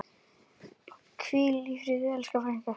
Hvíl í friði, elsku frændi.